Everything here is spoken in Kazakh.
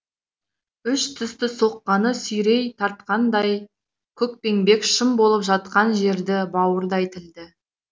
үш тісті соқаны сүйрей тартқанда көкпеңбек шым болып жатқан жерді бауырдай тілді